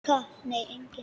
Nei, enginn